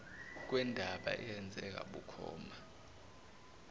kwendaba eyenzeka bukhoma